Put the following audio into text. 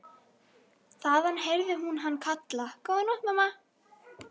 En ég get ekki sagt frá því augnabliki.